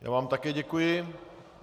Já vám také děkuji.